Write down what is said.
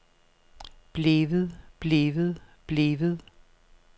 blevet blevet blevet